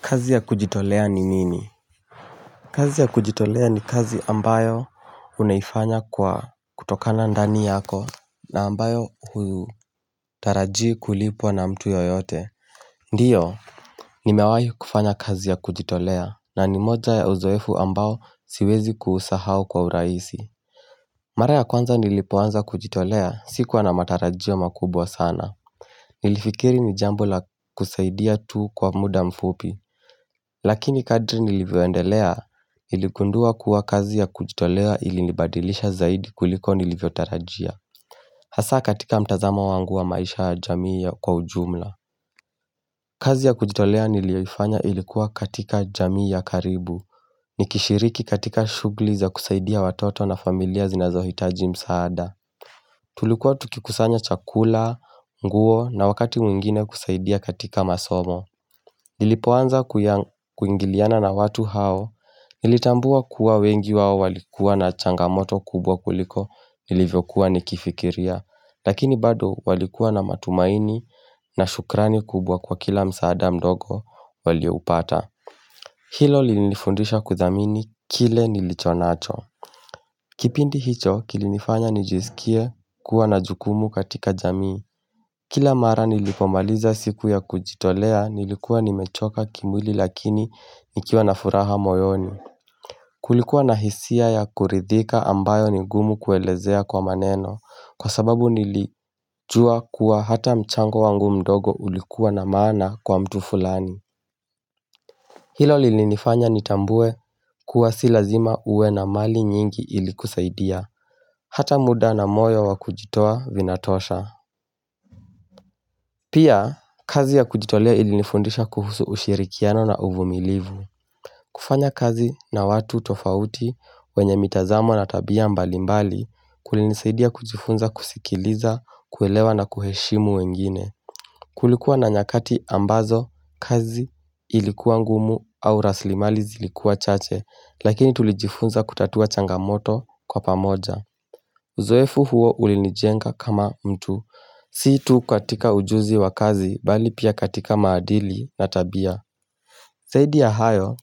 Kazi ya kujitolea ni nini kazi ya kujitolea ni kazi ambayo unaifanya kwa kutokana ndani yako na ambayo hutaraji kulipwa na mtu yeyote Ndiyo Nimewahi kufanya kazi ya kujitolea na ni moja ya uzoefu ambayo siwezi kuusahao kwa urahisi Mara kwanza nilipoanza kujitolea sikuwa na matarajio makubwa sana Nilifikiri ni jambo la kusaidia tu kwa muda mfupi Lakini kadri nilivyoendelea niligundua kuwa kazi ya kujitolea ilinibadilisha zaidi kuliko nilivyo tarajia Hasa katika mtazamo wangu wa maisha ya jamii ya kwa ujumla kazi ya kujitolea nilioifanya ilikuwa katika jamii ya karibu Nikishiriki katika shughuli za kusaidia watoto na familia zinazohitaji msaada Tulikuwa tukikusanya chakula, nguo na wakati mwingine kusaidia katika masomo Nilipoanza kuingiliana na watu hao, nilitambua kuwa wengi wao walikuwa na changamoto kubwa kuliko nilivyokuwa nikifikiria, lakini bado walikuwa na matumaini na shukrani kubwa kwa kila msaada mdogo walioupata. Hilo linifundisha kudhamini kile nilicho nacho. Kipindi hicho kilinifanya nijisikie kuwa na jukumu katika jamii. Kila mara nilipomaliza siku ya kujitolea nilikuwa nimechoka kimwili lakini nikiwa na furaha moyoni. Kulikuwa na hisia ya kuridhika ambayo ni ngumu kuelezea kwa maneno. Kwa sababu nilijua kuwa hata mchango wangu mdogo ulikuwa na maana kwa mtu fulani. Hilo lilinifanya nitambue kuwa si lazima uwe na mali nyingi ili kusaidia, hata muda na moyo wa kujitoa vinatosha. Pia, kazi ya kujitolea ilinifundisha kuhusu ushirikiano na uvumilivu. Kufanya kazi na watu tofauti wenye mitazamo na tabia mbalimbali kulinisaidia kujifunza kusikiliza, kuelewa na kuheshimu wengine. Kulikuwa na nyakati ambazo kazi ilikuwa ngumu au rasilimali zilikuwa chache Lakini tulijifunza kutatua changamoto kwa pamoja Uzoefu huo ulinijenga kama mtu Si tu katika ujuzi wa kazi bali pia katika maadili na tabia zaidi ya hayo,